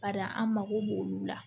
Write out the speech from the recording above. Bari an mago b'olu la